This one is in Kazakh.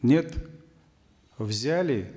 нет взяли